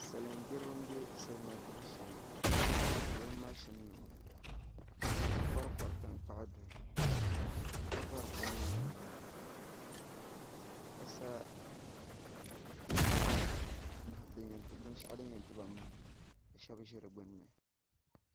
Salin gbiribi n bɛ salima gbibu shee ni bi mashin nima ka kori kori tankpaɣu duhi ka vori kom na nimaani ka sa binshaɣu din yɛn tiba maham ka shab ʒi di gbunni